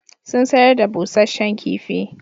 Sun sayar da busasshen kifi.